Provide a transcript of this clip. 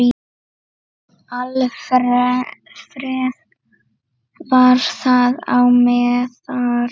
Alfreð var þar á meðal.